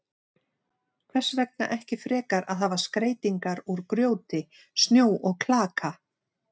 Hvers vegna ekki frekar að hafa skreytingar úr grjóti, snjó og klaka?